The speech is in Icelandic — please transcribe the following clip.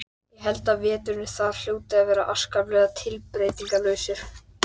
Það þykir engum neitt athugavert við það.